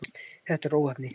Þetta var óheppni.